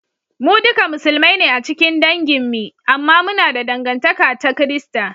Mu duka Musulmai ne a cikin dangin mi, amma muna da dangantaka ta Kirista